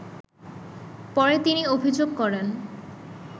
পরে তিনি অভিযোগ করেন